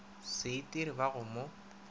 se itire ba go mo